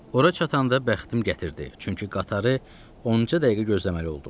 Ora çatanda bəxtim gətirdi, çünki qatarı 10-ca dəqiqə gözləməli oldum.